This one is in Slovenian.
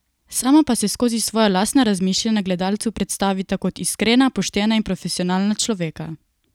Sama pa se skozi svoja lastna razmišljanja gledalcu predstavita kot iskrena, poštena in profesionalna človeka.